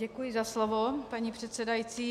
Děkuji za slovo, paní předsedající.